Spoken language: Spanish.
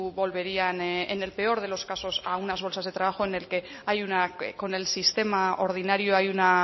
volverían en el peor de los casos a unas bolsas de trabajo en el que con el sistema ordinario hay una